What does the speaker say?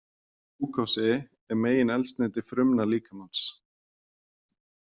Glúkósi er megineldsneyti frumna líkamans.